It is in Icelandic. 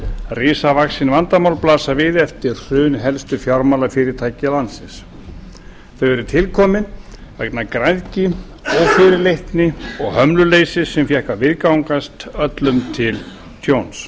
risavaxin vandamál blasa við eftir hrun helstu fjármálafyrirtækja landsins þau eru tilkomin vegna græðgi ófyrirleitni og hömluleysis sem fékk að viðgangast öllum til tjóns